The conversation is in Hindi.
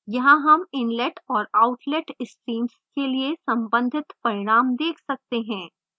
यहाँ हम inlet और outlet streams के लिए सम्बंधित परिणाम देख सकते हैं